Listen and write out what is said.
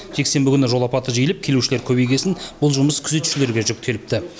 жексенбі күні жол апаты жиілеп келушілер көбейген соң бұл жұмыс күзетшілерге жүктеліпті